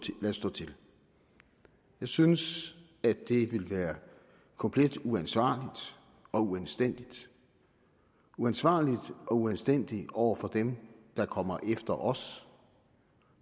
til jeg synes at det ville være komplet uansvarligt og uanstændigt uansvarligt og uanstændigt over for dem der kommer efter os